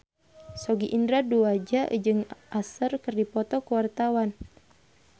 Sogi Indra Duaja jeung Usher keur dipoto ku wartawan